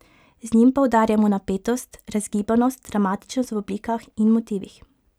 Z njim poudarjamo napetost, razgibanost, dramatičnost v oblikah in motivih.